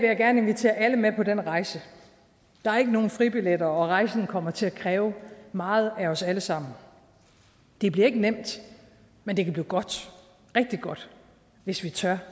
jeg gerne invitere alle med på den rejse der er ikke nogen fribilletter og rejsen kommer til at kræve meget af os alle sammen det bliver ikke nemt men det kan blive godt rigtig godt hvis vi tør